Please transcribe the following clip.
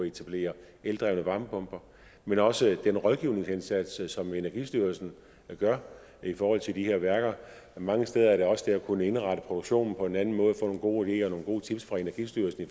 etablere eldrevne varmepumper men også den rådgivningsindsats som energistyrelsen gør i forhold til de her værker mange steder er det også det at kunne indrette produktionen på en anden måde få nogle gode ideer og nogle gode tips fra energistyrelsen i